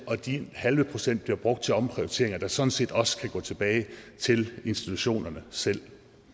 og den halve procent bliver brugt til omprioriteringer der sådan set også kan gå tilbage til institutionerne selv